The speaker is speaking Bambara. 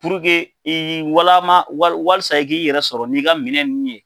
i' walama walsa i k'i yɛrɛ sɔrɔ n'i ka minɛ nunnu ye.